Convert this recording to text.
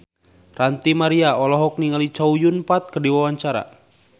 Ranty Maria olohok ningali Chow Yun Fat keur diwawancara